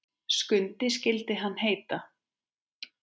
Skundi skyldi hann heita.